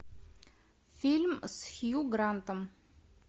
фильм с хью грантом